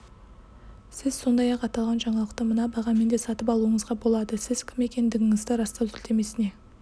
сіз сондай-ақ аталған жаңалықты мына бағамен де сатып алуыңызға болады сіз кім екендігіңізді растау сілтемесіне